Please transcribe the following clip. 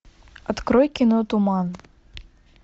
открой кино туман